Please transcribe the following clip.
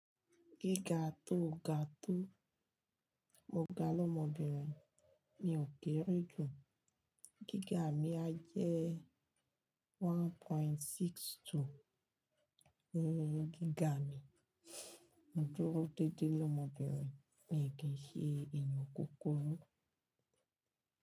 Gíga tó ga tó, mo ga lọ́mọbìnrin mi ò kere ju. Gíga mi á jẹ́ ni Gíga mi, mo dúró dédé l'ọmọbìnrin mi kì í ṣe èèyàn kúkurú.